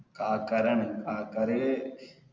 ആൾക്കാരാണ് ആൾക്കാര്